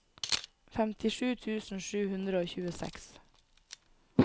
femtisju tusen sju hundre og tjueseks